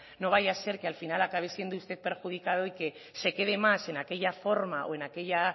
no vaya a ser que al final acabe siendo usted perjudicado y que se quede más en aquella forma o en aquella